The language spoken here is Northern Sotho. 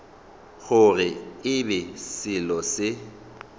gore e be selo se